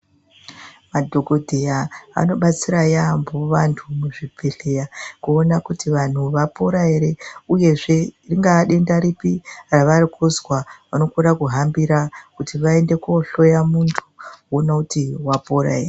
Madhokodheya anobatsira yambo, vantu muzvibhedhleya, kuwona kuti vanhu vapona here. Uyezve, ringadenda ripi ravakuzva, vanokona kuhambira kuti vayende kohloya muntu, vowona kuti wapora here.